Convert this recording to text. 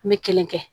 N bɛ kelen kɛ